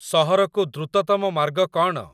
ସହରକୁ ଦ୍ରୁତତମ ମାର୍ଗ କ'ଣ ?